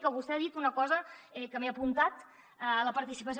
que vostè ha dit una cosa que m’he apuntat la participació